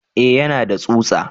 Eh yana da tsutsa